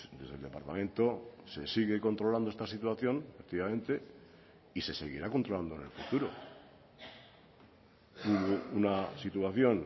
desde el departamento se sigue controlando esta situación efectivamente y se seguirá controlando en el futuro una situación